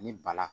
Ni ba la